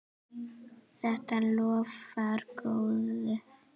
Þetta lofar góðu.